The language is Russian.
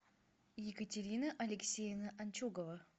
екатерина алексеевна анчугова